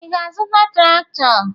Ị ga-azụta traktọ?